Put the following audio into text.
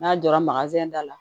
N'a jɔra da la